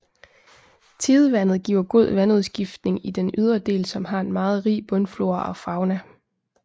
Tidevandet giver god vandudskiftning i den ydre del som har en meget rig bundflora og fauna